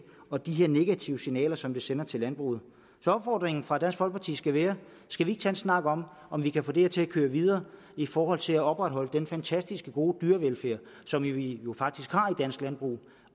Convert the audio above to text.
og de negative signaler som det sender til landbruget så opfordringen fra dansk folkeparti skal være skal vi ikke tage en snak om om vi kan få det her til at køre videre i forhold til at opretholde den fantastisk gode dyrevelfærd som vi jo faktisk har i dansk landbrug